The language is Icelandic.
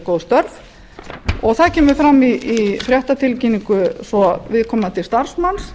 góð störf og það kemur fram í fréttatilkynningu svo viðkomandi starfsmanns